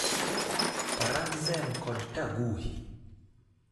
Parandzem kod Taguhi.